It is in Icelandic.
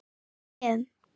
Með hléum.